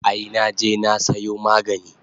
Ai naje na sayo magani